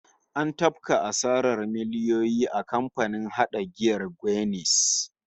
An tafka asarar miliyoyi a kamfanin hada giyar Guinness